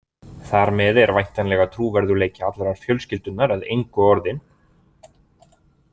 Þar með er væntanlega trúverðugleiki allrar fjölskyldunnar að engu orðinn.